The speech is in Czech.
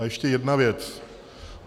A ještě jedna věc.